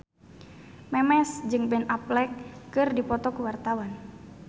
Memes jeung Ben Affleck keur dipoto ku wartawan